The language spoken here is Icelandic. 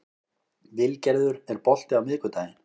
Vilgerður, er bolti á miðvikudaginn?